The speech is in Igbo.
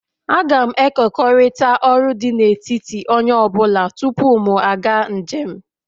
Agam ekekọrịta ọrụ dị n'etiti onye ọ bụla tupu m aga njem